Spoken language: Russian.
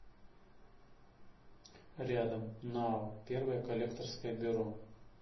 рядом нао первое коллекторское бюро